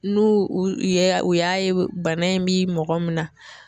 N'u u ye u y'a ye bana in bi mɔgɔ min na